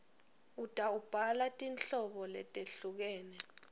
utawubhala tinhlobo letehlukene